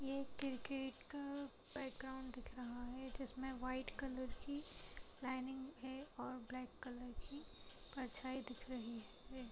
एक क्रिकेट का बैकग्राउंड दिख रहा है जिस में व्हाइट कलर की लाइनिंग है और ब्लैक कलर की परछाई दिख रही है।